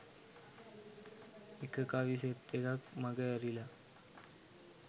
එක කවි සෙට් එකක් මගඇරිලා